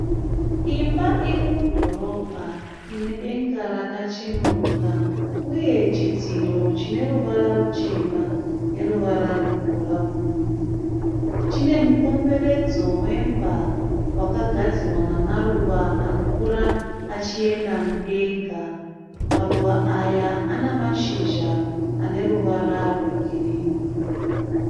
Imba iri mudhorobha ine denga rakachenuruka uye chidziro chine ruvara ruchena neruvara rwebhurauni. Chine mukomberedzo wemba wakagadzirwa namaruva anokura achienda mudenga. Maruva aya ana mashizha ane ruvara rwe girini.